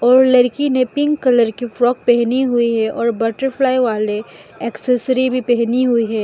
और लड़की ने पिंक कलर की फ्रॉक पहनी हुई है और बटरफ्लाई वाले एक्सेसरी भी पहनी हुई है।